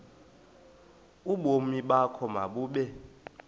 ubomi bakho mabube